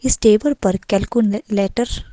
इस टेबल पर कैलकुलेटर--